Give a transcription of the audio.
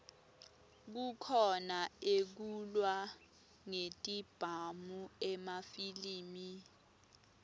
kukhona ekulwa ngetibhamu emafilimi